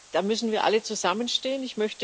Da müssen wir alle zusammenstehen.